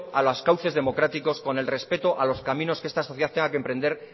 a los cauces democráticos con el respeto a los caminos que esta sociedad tenga que emprender